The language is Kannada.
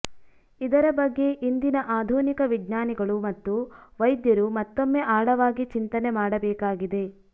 ಇದರ ಬಗ್ಗೆ ಇಂದಿನ ಆಧುನಿಕ ವಿಜ್ಞಾನಿಗಳು ಮತ್ತು ವೈದ್ಯರು ಮತ್ತೊಮ್ಮೆ ಆಳವಾಗಿ ಚಿಂತನೆ ಮಾಡಬೇಕಾಗಿದೆ